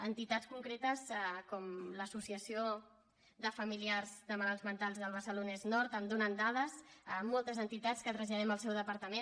entitats concretes com l’associació de familiars de malalts mentals del barcelonès nord em donen dades moltes entitats que traslladem al seu departament